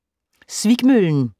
Svikmøllen